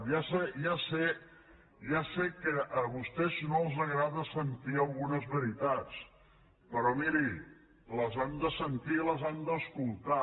ja sé ja sé que a vostès no els agrada sentir algunes veritats però miri les han de sentir i les han d’escoltar